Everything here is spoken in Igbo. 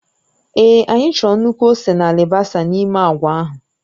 Èé anyị chọrọ nnukwu ose na alibasa n'ime agwa ahụ